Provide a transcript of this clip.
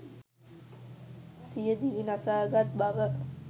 සිය දිවි නසා ගත් බව.